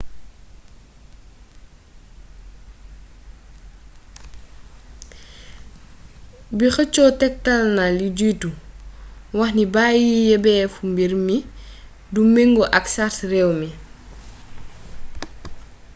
bi xëccoo tektalna lu jiitu waxni bàyyi yebeefu mbir mi du mëngo ak sart réew mi